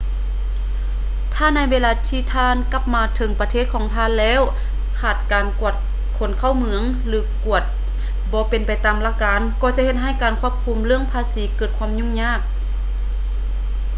ຖ້າໃນເວລາທີ່ທ່ານກັບມາເຖິງປະເທດຂອງທ່ານແລ້ວຂາດການກວດຄົນເຂົ້າເມືອງ ຫຼື ກວດບໍ່ເປັນໄປຕາມຫຼັກການກໍຈະເຮັດໃຫ້ການຄວບຄຸມເລື່ອງພາສີເກີດຄວາມຫຍຸ້ງຍາກ